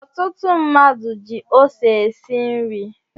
Ọtụtụ mmadụ ji ose esi nri